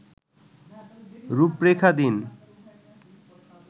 রূপরেখা দিন